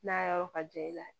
N'a yɔrɔ ka jan i la